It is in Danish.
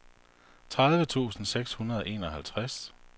tredive tusind seks hundrede og enoghalvtreds